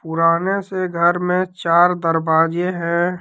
पुराने से घर में चार दरवाजे हैं।